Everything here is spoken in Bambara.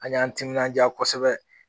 An y'an timinanja kosɛbɛ